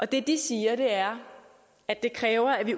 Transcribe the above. det de siger er at det kræver at vi